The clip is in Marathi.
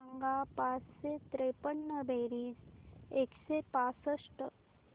सांग पाचशे त्रेपन्न बेरीज एकशे पासष्ट